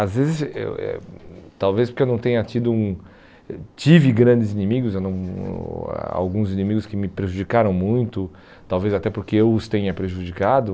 Às vezes, eu eh talvez porque eu não tenha tido um... Tive grandes inimigos, eu não alguns inimigos que me prejudicaram muito, talvez até porque eu os tenha prejudicado.